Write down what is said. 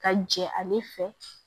Ka jɛ ale fɛ